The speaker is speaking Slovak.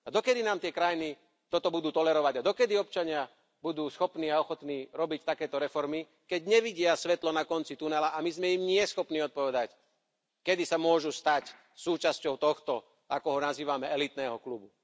A dokedy nám tie krajiny toto budú tolerovať a dokedy občania budú schopní a ochotní robiť takéto reformy, keď nevidia svetlo na konci tunela, a my im nie sme schopní odpovedať, kedy sa môžu stať súčasťou tohto, ako ho nazývame, elitného klubu.